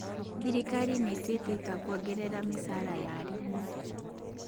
Thirikari nĩĩtuĩte itua kuongerera mĩcara ya arimũ